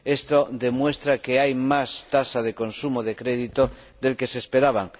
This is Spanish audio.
Esto demuestra que hay más tasa de consumo de crédito de la que se esperaba.